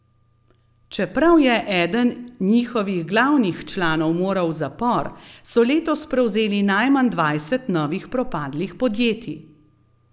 Čeprav je eden njihovih glavnih članov moral v zapor, so letos prevzeli najmanj dvajset novih propadlih podjetij.